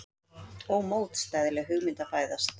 Ómótstæðileg hugmynd að fæðast.